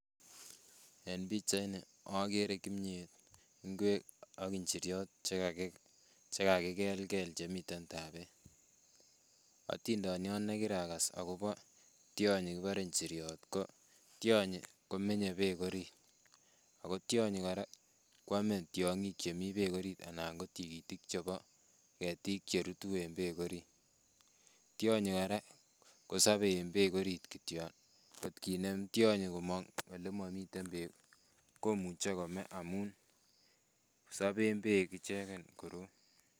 En pichaini ageere kimyet, ingwek ak inyoriot chekakikelkel chemiten saniit, atindoniot nekirakas akobo tionyii kibore inyiriot ko tionyii komenyee beek orit, ak tionyii kora kwome amitwogiik chemi berk orit Alan KO tikitikit chebo tuguuk cherutu eng beek orit. Tionyii kora kosobe eng beek orit kityok kot kinem tionyii e komong akinde ole momii beek komuche kome amun soben beek ichegen koroi